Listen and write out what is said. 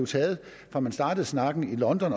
fra man startede snakken i london